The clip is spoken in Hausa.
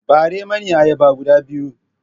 Ɓare mani ayyaba guda biyu!